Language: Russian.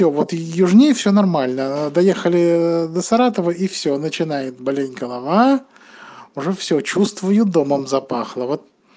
вот южнее всё нормально доехали до саратова и всё начинает болеть голова уже всё чувствую домом запахло